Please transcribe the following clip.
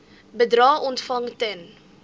bedrae ontvang ten